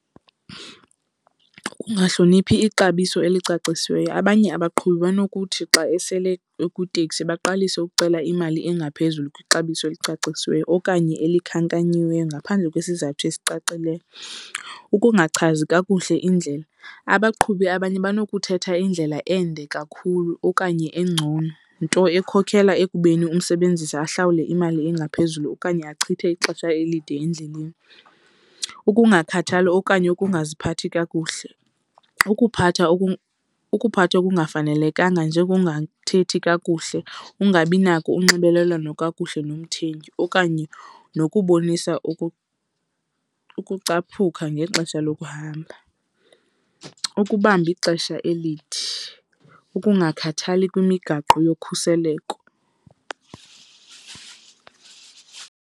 Kukungahloniphi ixabiso elicacisiweyo. Abanye abaqhubi banokuthi xa esele ukwitekisi baqalise ukucela imali engaphezulu kwixabiso eslicacisiweyo okanye elikhankanyiweyo ngaphandle kwesizathu esicacileyo. Ukungachazi kakuhle indlela. Abaqhubi abanye banokuthatha indlela ende kakhulu okanye engcono, nto ekhokela ekubeni umsebenzisi ahlawulwe imali engaphezulu okanye achithe ixesha elide endleleni. Ukungakhathali okanye ukungaziphathi kakuhle. Ukuphatha ukuphatha okungafanelekanga njengokungathethi kakuhle, ukungabi nako unxibelelwano kakuhle nomthengi okanye nokubonisa ukucaphuka ngexesha lokuhamba. Ukubamba ixesha elide, ukungakhathali kwimigaqo yokhuseleko.